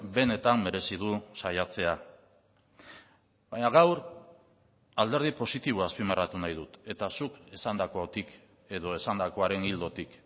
benetan merezi du saiatzea baina gaur alderdi positiboa azpimarratu nahi dut eta zuk esandakotik edo esandakoaren ildotik